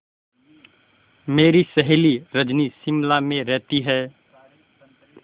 मेरी सहेली रजनी शिमला में रहती है